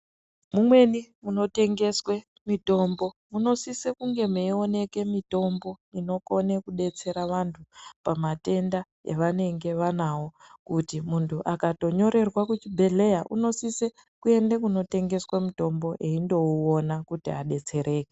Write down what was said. Mumweni munotengeswe mutombo munosise kunge meioneke mitombo inokone kudetsera vantu oamatenda evanenge vanawo kuti muntu akatonyorerwa kuchibhedhleya unosise kuende kunotengeswe mutombo eindouona kuti adetsereke.